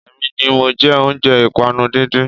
Èmi ni mọ jẹ́ oúnjẹ ìpànu díndín